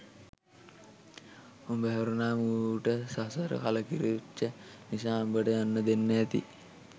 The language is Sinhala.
උඹ හැරුනාම ඌට සසර කලකිරිච්ච නිසා උඹට යන්න දෙන්න ඇති